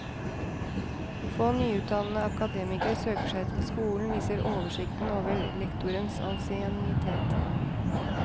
Få nyutdannede akademikere søker seg til skolen, viser oversikten over lektorenes ansiennitet.